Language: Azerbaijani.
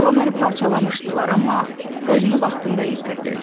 Az qala məni parçalamışdılar, amma özünü vaxtında yetirdi.